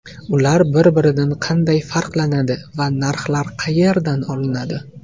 Ular bir-biridan qanday farqlanadi va narxlar qayerdan olinadi?